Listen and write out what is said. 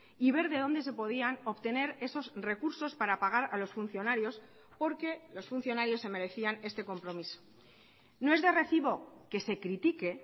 y ver de dónde se podían obtener esos recursos para pagar a los funcionarios porque los funcionarios se merecían este compromiso no es de recibo que se critique